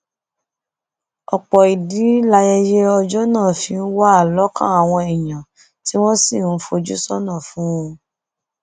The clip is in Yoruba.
ọpọ ìdí layẹyẹ ọjọ náà fi wà lọkàn àwọn èèyàn tí wọn sì ń fojú sọnà fún un